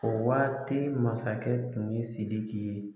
O waati masakɛ tun ye Sidiki ye